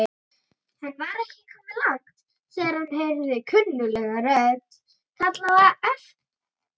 Hann var ekki kominn langt þegar hann heyrði kunnuglega rödd kalla á aftir honum.